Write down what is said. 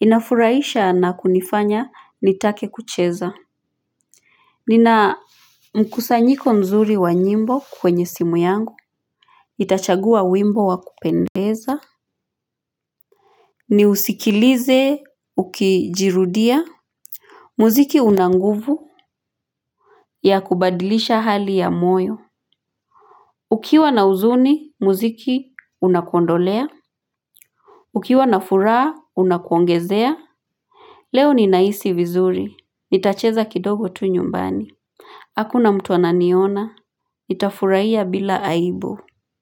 Inafuraisha na kunifanya nitake kucheza. Nina mkusanyiko mzuri wa nyimbo kwenye simu yangu. Itachagua wimbo wakupendeza. Ni usikilize ukijirudiya. Muziki unanguvu ya kubadilisha hali ya moyo. Ukiwa na uzuni, muziki unakondolea. Ukiwa na furaa, unakuongezea. Leo ninahisi vizuri. Nitacheza kidogo tu nyumbani. Hakuna mtu ananiona. Nita furahiya bila aibu.